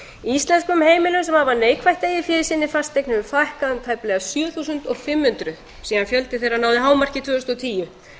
heimilum sem hafa neikvætt eigið fé í sinni fasteign hefur fækkað um tæplega sjö þúsund og fimm hundruð síðan fjöldi þeirra náði hámarki tvö þúsund og tíu